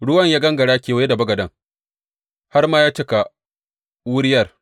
Ruwan ya gangara kewaye da bagaden har ma ya cika wuriyar.